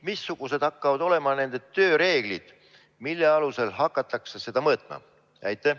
Missugused hakkavad olema nende tööreeglid, mille alusel hakatakse seda mõõtma?